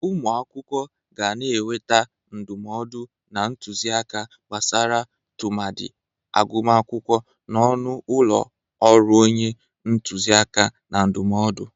Ụmụ akwụkwọ ga na-enweta ndụmọdụ na ntuzi aka gbasara tụmadị agụmakwụkwọ n'ọnụ ụlọ ọrụ onye ntuzi aka na ndụmọdụ.